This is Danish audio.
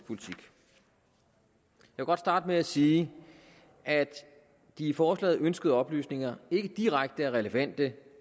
godt starte med at sige at de i forslaget ønskede oplysninger ikke direkte er relevante